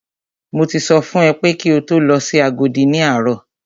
Mo ti sọ fún ẹ pé kí o lọ sí Agodi ní àárọ̀!